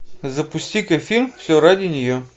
запусти ка фильм все ради нее